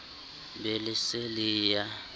be le se le ya